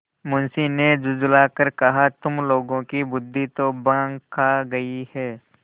मुंशी ने झुँझला कर कहातुम लोगों की बुद्वि तो भॉँग खा गयी है